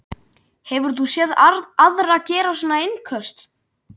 Hefur þú séð aðra gera svona innköst?